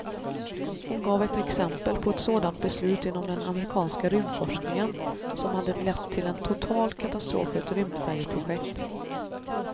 Hon gav ett exempel på ett sådant beslut inom den amerikanska rymdforskningen, som hade lett till en total katastrof för ett rymdfärjeprojekt.